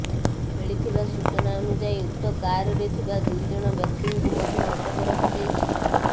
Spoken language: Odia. ମିଳିଥିବା ସୂଚନା ଅନୁଯାୟୀ ଉକ୍ତ କାରରେ ଥିବା ଦୁଇ ଜଣ ବ୍ୟକ୍ତିଙ୍କୁ ମଧ୍ୟ ଅଟକ ରଖାଯାଇଛି